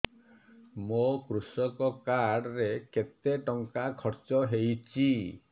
ମୋ କୃଷକ କାର୍ଡ ରେ କେତେ ଟଙ୍କା ଖର୍ଚ୍ଚ ହେଇଚି